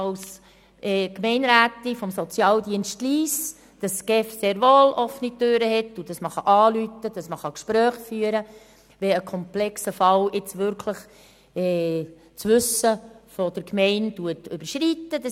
Als Gemeinderätin des Sozialdienstes Lyss habe ich die Erfahrung gemacht, dass die GEF sehr wohl offene Türen hat und man anrufen und Gespräche führen kann, wenn mit einem komplexen Fall das Wissen der Gemeinde wirklich überschritten wird.